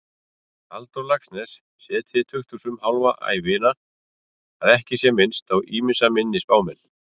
Halldór Laxness setið í tukthúsum hálfa ævina, að ekki sé minnst á ýmsa minni spámenn.